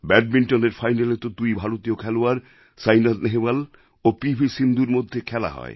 ব্যাডমিণ্টনএর ফাইনালে তো দুই ভারতীয় খেলোয়াড় সাইনা নেহবাল ও পি ভি সিন্ধুর মধ্যে খেলা হয়